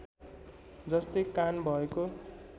जस्तै कान भएको